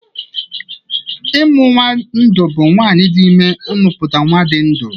Ịmụ nnwa ndụ bụ nwaanyị dị ime ịmụpụta nnwa dị ndụ